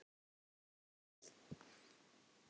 Bíðið og sjáið!